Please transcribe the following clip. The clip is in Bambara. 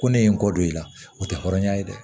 Ko ne ye n kɔ don i la o tɛ hɔrɔnya ye dɛ